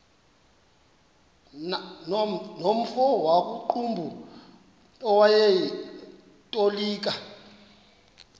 nomfo wakuqumbu owayetolika